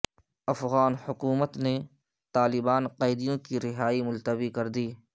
افغان حکومت نے طالبان قیدیوں کی رہائی ملتوی کر دی